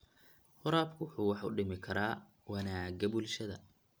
Waraabku wuxuu wax u dhimi karaa wanaagga bulshada.